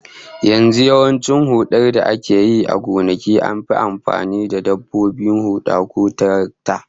Yanzu yawancin hudar da ake yi a gonaki an fi amfani da dabbobin huda ko tarakta